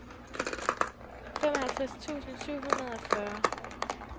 femoghalvtreds tusind syv hundrede og fyrre